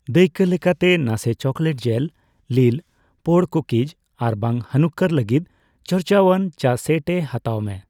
ᱫᱟᱹᱭᱠᱟᱹ ᱞᱮᱠᱟᱛᱮ, ᱱᱟᱥᱮᱹ ᱪᱚᱠᱞᱮᱴ ᱡᱮᱹᱞ, ᱞᱤᱞᱼᱯᱳᱲ ᱠᱩᱠᱤᱡᱽ ᱟᱨᱵᱟᱝ ᱦᱟᱱᱩᱠᱠᱟᱨ ᱞᱟᱜᱤᱫ ᱪᱚᱨᱪᱟᱣᱟᱱ ᱪᱟ ᱥᱮᱹᱴ ᱮ ᱦᱟᱛᱟᱣ ᱢᱮ ᱾